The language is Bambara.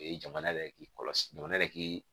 O ye jamana yɛrɛ k'i kɔlɔsi jamana yɛrɛ k'i